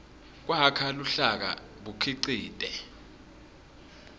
kwakha luhlaka bukhicite